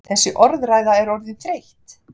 Þessi orðræða er orðin þreytt!